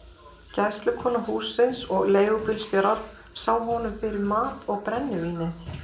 Gæslukona hússins og leigubílstjórar sáu honum fyrir mat og brennivíni.